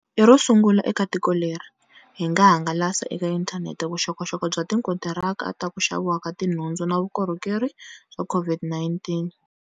I rosungula eka tiko leri, hi nga hangalasa eka inthanete vuxokoxoko bya tikontiraka ta ku xaviwa ka tinhundzu na vukorhokeri ta COVID-19.